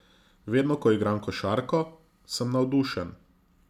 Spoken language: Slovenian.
Vedno ko igram košarko, sem navdušen.